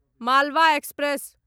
Malwa express